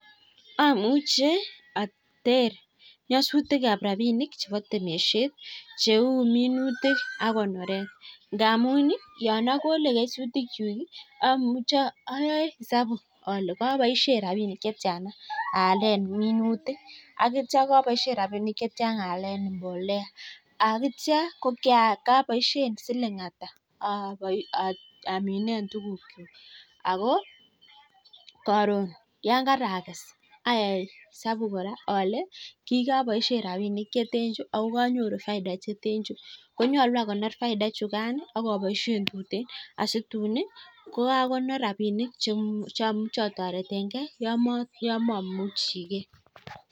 Amuche ater nyosutikab rapinik chebo temishet. Cheu minutik ak konoret. Ndamun yon akole minutikchu ayae esabu ale kaboishe rapinik chetiana aale minuti akitio kaboishe rapinik che tia aale mbolea. Akitia kaboishe siling ata amine tukiukchuk. Ako karon yon karakes ayai esabu kora ale kikaboishe rapinik che ten chu akO kanyoru faida che ten chu. Konyalu akonor faida chukan ak aboishen tuteen asituun kokakonor rapinik cheyochei a toretengei yo mamuchigei.